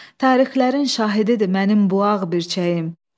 Tarixlərin şahididir mənim bu ağ birçəyim.